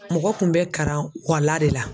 Mɔgɔ kun bɛ karan kuwala de la.